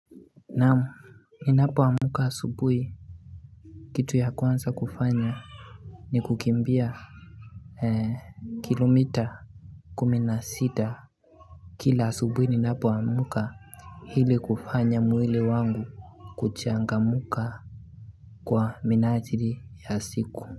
Naam ninapo amka asubuhi Kitu ya kwanza kufanya ni kukimbia kilomita Kuminasita Kila subuhi ni napo amka ili kufanya mwili wangu kuchangamuka Kwa minajili ya siku.